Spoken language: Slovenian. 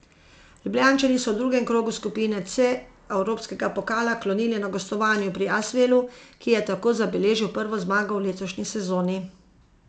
Ljubljančani so v drugem krogu skupine C evropskega pokala klonili na gostovanju pri Asvelu, ki je tako zabeležil prvo zmago v letošnji sezoni.